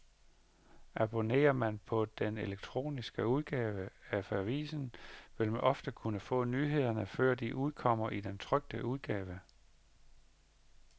Abonnerer man på den elektroniske udgave af avisen, vil man ofte kunne få nyhederne, før de udkommer i den trykte udgave.